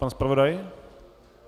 Pan zpravodaj?